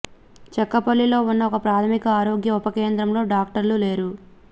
చక్కపల్లిలో ఉన్న ఒక ప్రాథమిక ఆరోగ్య ఉప కేంద్రంలో డాక్టర్లు లేరు